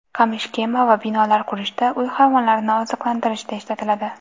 Qamish kema va binolar qurishda, uy hayvonlarini oziqlantirishda ishlatiladi.